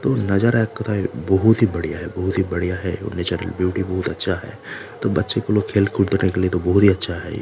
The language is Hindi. तो नज़र बहुत ही बढ़िया है बहुत ही बढ़िया है उ नेचुरल ब्यूटी बहुत अच्छा है तो बच्चे लोग खेल कूद रहे है तो ये तो बहुत ही अच्छा है।